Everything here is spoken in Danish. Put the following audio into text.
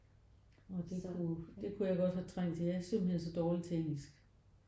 Åh det kunne det kunne jeg godt have trængt til. Jeg er simpelthen så dårligt til engelsk